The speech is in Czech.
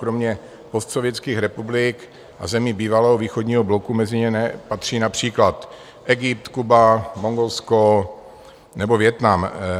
Kromě postsovětských republik a zemí bývalého východního bloku mezi ně patří například Egypt, Kuba, Mongolsko nebo Vietnam.